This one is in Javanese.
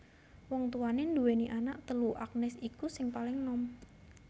Wong tuwané nduwèni anak telu Agnes iku sing paling nom